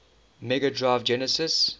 mega drive genesis